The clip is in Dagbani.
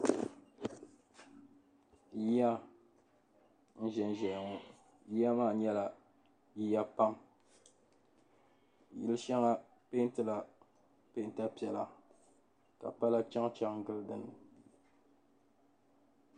Yiya n-ʒen ʒeya ŋɔ yiya maa nyɛla yiya pam di shɛŋa peenti la peenta piɛla ka pala chaŋ chaŋ gili dinni.